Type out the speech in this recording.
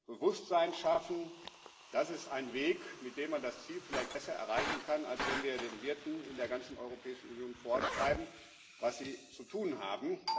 Anreize, Bewusstsein schaffen das ist ein Weg, mit dem man das Ziel vielleicht besser erreichen kann, als wenn wir den Wirten in der ganzen Europäischen Union vorschreiben, was sie zu tun haben.